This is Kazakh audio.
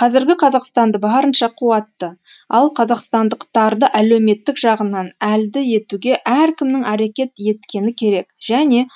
қазіргі қазақстанды барынша қуатты ал қазақстандықтарды әлеуметтік жағынан әлді етуге әркімнің әрекет еткені керек және